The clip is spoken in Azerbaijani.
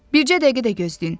Bircə dəqiqə də gözləyin.